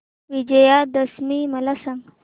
विजयादशमी मला सांग